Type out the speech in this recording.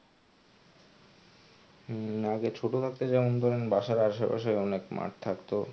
হম আগে ছোট থাকতে যেমন ধরেন বাসার আসে পাশে অনেক মাঠ থাকতো.